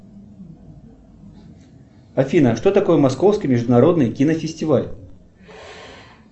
афина что такое московский международный кинофестиваль